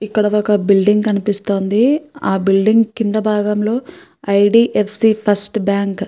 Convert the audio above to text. ఇక్కడ ఒక బిల్డింగ్ కనిపిస్తోంది ఆ బిల్డింగ్ కింద భాగం లో I. D. F. C. First bank --